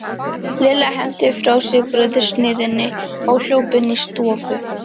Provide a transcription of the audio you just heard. Lilla henti frá sér brauðsneiðinni og hljóp inn í stofu.